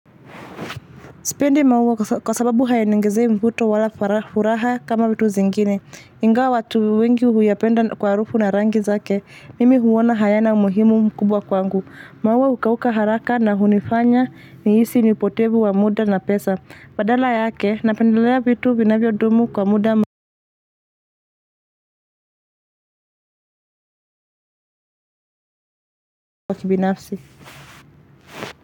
Sipendi maua kwa sababu hayaniongezei mvuto wa furaha kama vitu zingine. Ingawa watu wengi huyapenda kwa harufu na rangi zake. Mimi huona hayana umuhimu mkubwa kwangu. Maua hukauka haraka na hunifanya nihisi mpotevu wa muda na pesa. Badala yake, napendelea vitu vinavyodumu kwa muda mawa kibinafsi.